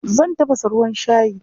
Zan tafasa ruwan shayi.